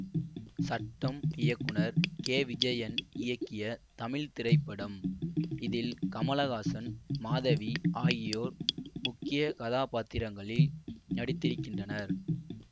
சட்டம் இயக்குனர் கேவிஜயன் இயக்கிய தமிழ் திரைப்படம் இதில் கமலஹாசன் மாதவி ஆகியோர் முக்கிய கதாபாத்திரங்களில் நடித்திருக்கின்றனர்